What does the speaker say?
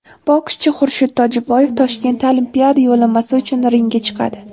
Bokschi Xurshid Tojiboyev Toshkentda Olimpiada yo‘llanmasi uchun ringga chiqadi.